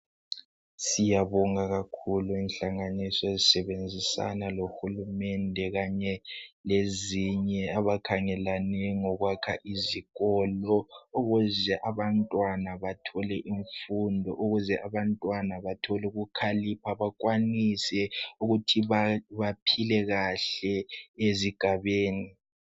Siyabonga kakhulu inhlanganiso ezisebenzisana lohulumende , kanye lezinye, abakhangelane ngokwakha izikolo. Ukuze abantwana bathole imfundo, ukuze abantwana bathole ukukhalipha. Bakwanise ukuthi baphile kahle ezigabeni.